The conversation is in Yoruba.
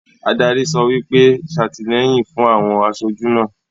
Adarí sọ wípé,'satilẹ́yìn fún àwọn asojú náà'